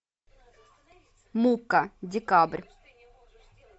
мукка декабрь